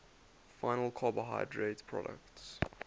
final carbohydrate products